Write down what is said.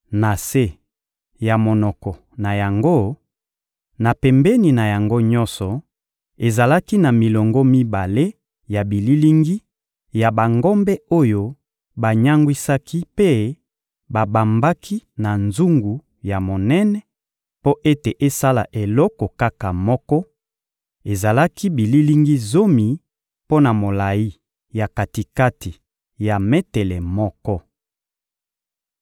Na se ya monoko na yango, na pembeni na yango nyonso, ezalaki na milongo mibale ya bililingi ya bangombe oyo banyangwisaki mpe babambaki na nzungu ya monene mpo ete esala eloko kaka moko; ezalaki bililingi zomi mpo na molayi ya kati-kati ya metele moko.